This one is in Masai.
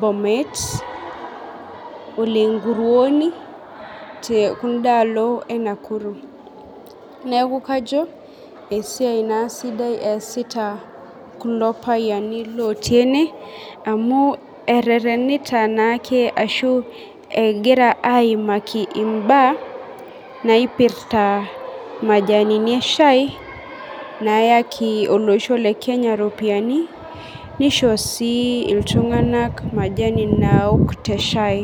,bomet, olenkuoni, tekundaalo enaruku neaku kajo esiai na sidai easitakuloo payiani lotii ene amu ereretina taake ashu egira aimaki imbaa naipirta majanini eshai nayaki olosho lekenya ropiyani nisho si ltunganak majani naok teshai.